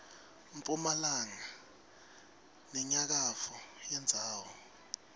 mphumalanga nenyakatfo yendzawo